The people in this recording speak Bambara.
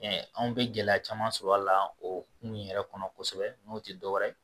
anw bɛ gɛlɛya caman sɔrɔ a la o kun yɛrɛ kɔnɔ kosɛbɛ n'o tɛ dɔwɛrɛ ye